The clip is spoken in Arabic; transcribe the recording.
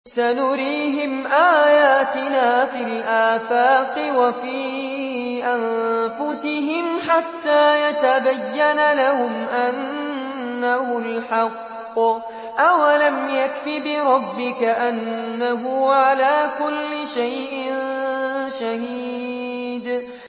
سَنُرِيهِمْ آيَاتِنَا فِي الْآفَاقِ وَفِي أَنفُسِهِمْ حَتَّىٰ يَتَبَيَّنَ لَهُمْ أَنَّهُ الْحَقُّ ۗ أَوَلَمْ يَكْفِ بِرَبِّكَ أَنَّهُ عَلَىٰ كُلِّ شَيْءٍ شَهِيدٌ